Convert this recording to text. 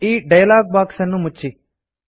ಈ dialog box ಅನ್ನು ಮುಚ್ಚಿ